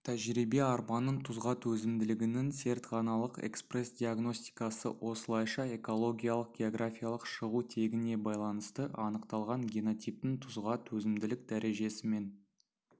тәжірибе арпаның тұзға төзімділігінің зертханалық экспрессдиагностикасы осылайша экологиялық-географиялық шығу тегіне байланысты анықталған генотиптің тұзға төзімділік дәрежесімен